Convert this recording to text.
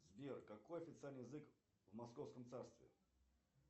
сбер какой официальный язык в московском царстве